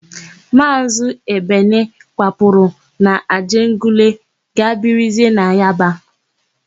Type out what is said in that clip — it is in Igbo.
Maazị Ebene kwapụrụ n'Ajegunle gaa birizie na Yaba.